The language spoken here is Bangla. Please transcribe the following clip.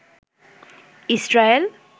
ইসরায়েল